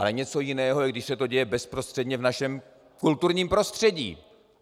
Ale něco jiného je, když se to děje bezprostředně v našem kulturním prostředí.